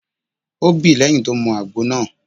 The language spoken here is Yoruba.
O bí lẹ́yìn tó mu àgbo náà.